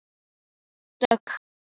Dögg, hvað er á innkaupalistanum mínum?